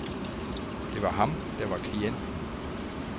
Det var ham, der var klienten.